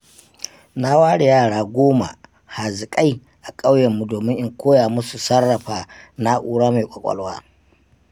Na ware yara goma haziƙai a ƙauyenmu domin in koya musu sarrafa na'ura mai ƙwaƙwalwa.